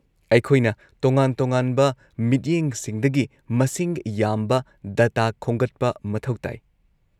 -ꯑꯩꯈꯣꯏꯅ ꯇꯣꯉꯥꯟ-ꯇꯣꯉꯥꯟꯕ ꯃꯤꯠꯌꯦꯡꯁꯤꯡꯗꯒꯤ ꯃꯁꯤꯡ ꯌꯥꯝꯕ ꯗꯇꯥ ꯈꯣꯝꯒꯠꯄ ꯃꯊꯧ ꯇꯥꯏ꯫